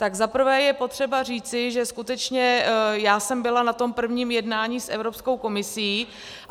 Tak za prvé je potřeba říci, že skutečně já jsem byla na tom prvním jednání s Evropskou komisí.